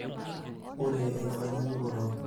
ore enkitanyaanyukoto